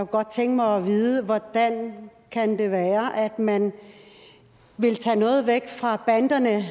godt tænke mig at vide hvordan kan være at man vil tage noget indtægt væk fra banderne